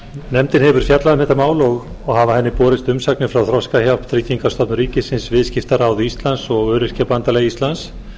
nefndin hefur fjallað um þetta mál og hafa henni borist umsagnir frá þroskahjálp tryggingastofnun ríkisins viðskiptaráði íslands og öryrkjabandalagi íslands